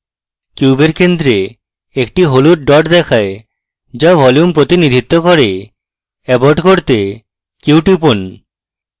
কিউবের centre একটি হলুদ dot দেখায় যা ভলিউম প্রতিনিধিত্ব cube abort করতে q টিপুন